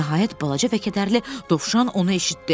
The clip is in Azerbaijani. Nəhayət balaca və kədərli dovşan onu eşitdi.